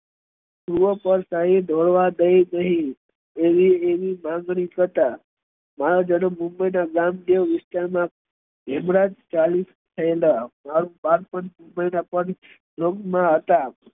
પૂર્વ બળશાળી ધોળવા દઈ ને આવી માંગણી થતા મુંબઈ ના રામદેવ વિસ્તાર મા હતા